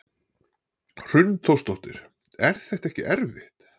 Hrund Þórsdóttir: Er þetta ekkert erfitt?